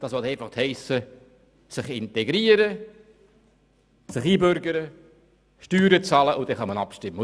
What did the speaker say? Das heisst, sich integrieren, sich einbürgern, Steuern bezahlen, und dann kann man abstimmen.